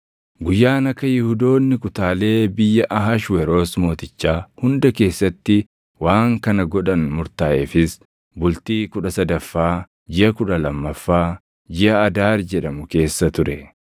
Guyyaan akka Yihuudoonni kutaalee biyya Ahashweroos Mootichaa hunda keessatti waan kana godhan murtaaʼeefis bultii kudha sadaffaa jiʼa kudha lammaffaa, jiʼa Adaar jedhamu keessa ture.